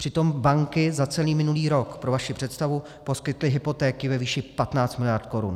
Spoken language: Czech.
Přitom banky za celý minulý rok, pro vaši představu, poskytly hypotéky ve výši 15 miliard korun.